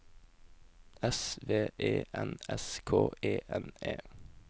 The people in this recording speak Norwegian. S V E N S K E N E